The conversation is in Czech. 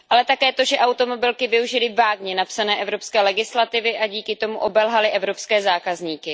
Ale také to, že automobilky využily vágně napsané evropské legislativy a díky tomu obelhaly evropské zákazníky.